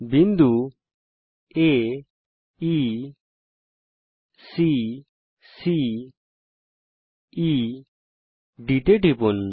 বিন্দু aeসি CED এর উপর টিপুন